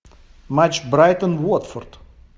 матч брайтон уотфорд